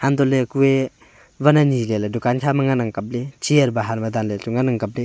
antoh ley ku a van ani le ley dukan kha ma ang kapley chair bahar ma danley le ngan ang kapley.